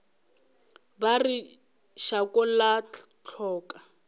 ba re šako la hloka